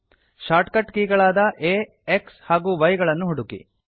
short cut ಕೀಗಳಾದ ಆ x ಹಾಗೂ y ಗಳನ್ನು ಹುಡುಕಿ